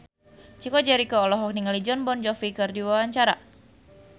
Chico Jericho olohok ningali Jon Bon Jovi keur diwawancara